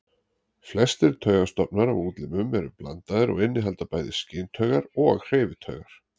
Flestir taugastofnar á útlimum eru blandaðir og innihalda bæði skyntaugar og hreyfitaugar.